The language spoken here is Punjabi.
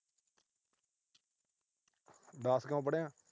ਦਸ ਕਿਉਂ ਪੜ੍ਹਿਆ?